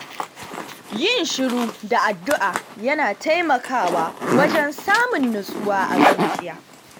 Yin shiru da addu'a yana taimakawa wajen samun nutsuwa a zuciya.